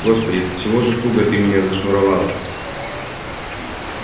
господи до чего ж туго ты меня зашнуровала